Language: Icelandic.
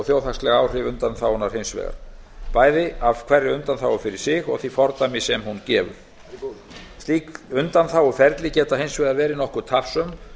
þjóðhagsleg áhrif undanþágunnar hins vegar bæði af hverri undanþágu fyrir sig og því fordæmi sem hún gefur slík undanþáguferli geta hins vegar verið nokkuð tafsöm